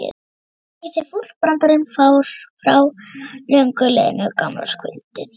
Endurtekur sig fúll brandarinn frá löngu liðnu gamlárskvöldi.